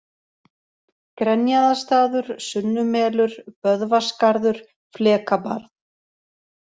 Grenjaðarstaður, Sunnumelur, Böðvarsgarður, Flekabarð